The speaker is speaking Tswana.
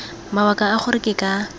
mabaka a gore ke ka